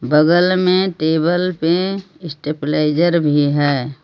बगल मे टेबल पे भी है.